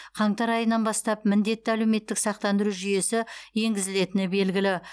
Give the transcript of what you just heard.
қаңтар айынан бастап міндетті әлеуметтік сақтандыру жүйесі енгізілетіні белгілі